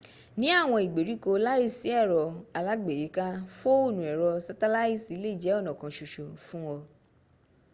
ní àwọn ìgbèríko láìsí ẹ̀rọ alágbèéká fóònù ẹ̀rọ sátálàìtì lè jẹ́ ọ̀nà kan ṣoṣo fún ọ